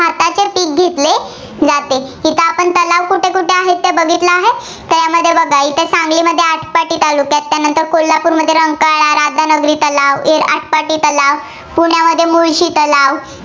घेतले जाते. इथं आपण तलाव कुठे कुठे आहेत, ते बघितलं आहे. यामध्ये बघा सांगलीमध्ये आटपाडी तालुका, त्यानंतर कोल्हापूरमध्ये रंकाळा, राधानगरी तलाव, आटपाडी तलाव, पुण्यामध्ये मुळशी तलाव